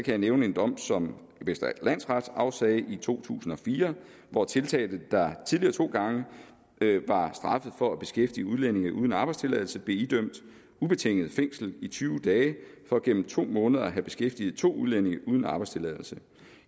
jeg nævne en dom som vestre landsret afsagde i to tusind og fire hvor tiltalte der tidligere to gange var straffet for at beskæftige udlændinge uden arbejdstilladelse blev idømt ubetinget fængsel i tyve dage for gennem to måneder at have beskæftiget to udlændinge uden arbejdstilladelse